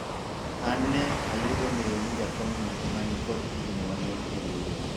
an ne ayudo ng'eyo ni jakomno ema nikod higni mang'eny e riwruok